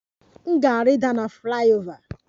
M ga-rida na flyover